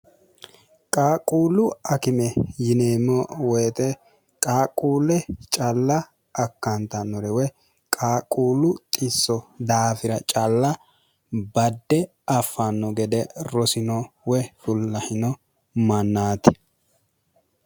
qaaqquullu akime yineemmo woyixe qaaqquulle calla akkaantannorewe qaaquullu qisso daafira calla badde affanno gede rosino we fullahino mannaati